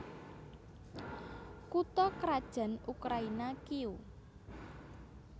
Kutha krajan Ukraina Kiyéw